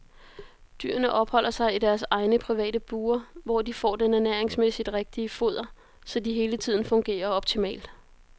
Dyrene opholder sig i deres egne private bure, hvor de får den ernæringsmæssigt rigtige foder, så de hele tiden fungerer optimalt.